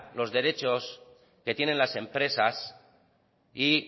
los derechos que tienen las empresas y